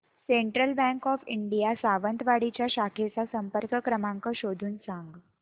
central Bank of India Sawantwadi च्या शाखेचा संपर्क क्रमांक शोधून सांग